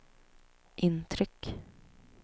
intryck